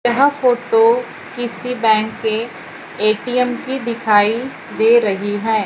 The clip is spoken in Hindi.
यह फोटो किसी बैंक के ए_टी_म की दिखाई दे रही है।